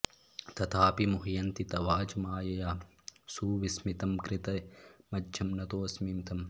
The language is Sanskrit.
तथापि मुह्यन्ति तवाज मायया सुविस्मितं कृत्यमजं नतोऽस्मि तम्